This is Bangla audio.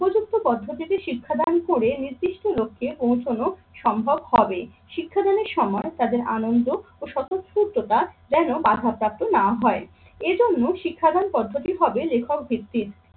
উপযুক্ত পদ্ধতিতে শিক্ষাদান করে নির্দিষ্ট লক্ষ্যে পৌঁছানো হবে। শিক্ষাদানের সময় তাদের আনন্দ ও স্বতঃস্ফূর্ততা যেন বাধা প্রাপ্ত না হয়। এজন্য শিক্ষাদান পদ্ধতি হবে লেখক ভিত্তিক